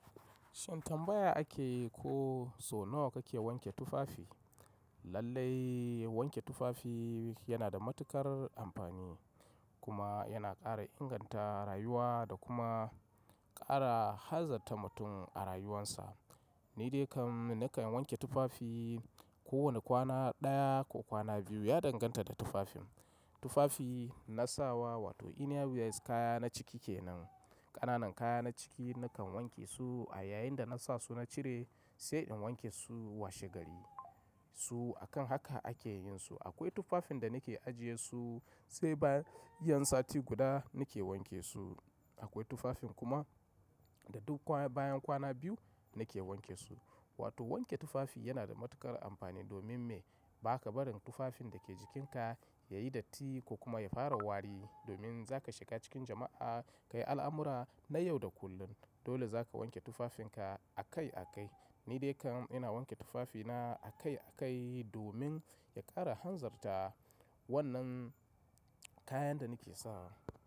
Shin tambaya akeyi ko sau nawa kake wanke tufafi? Lallai wanke tufafi yana da matuƙar amfani kuma yana ƙara inganta rayuwa da kuma ƙara hanzarta mutum a rayuwarsa. Ni dai kan nakan wanke tufafi kowane kwana ɗaya ko kwana biyu. Ya danganta da tufafin. Tufafi na sawa wato inna wears kaya na ciki kenan, ƙananan kaya na ciki nakan wanke su a yayin da na sa su na cire sai in wanke su washe gari su. Akan haka ake yin su. Akwai tufafin da nake ajiye su sai bayan yan sati guda nake wanke su. Akwai tufafin kuma da duk bayan kwana biyu nake wanke su. Wato wanke tufafi yana da matuƙar amfani domin me? Ba ka barin tufafin da ke jikinka yayi datti ko kuma ya fara wari. Domin za ka shiga cikin jama'a, kayi al'amura na yau da kullum. Dole za ka wanke tufafinka a kai a kai. Ni dai kam ina wanke tufafina a kai a kai domin ya ƙara hanzarta wannan kayan da nake sawa.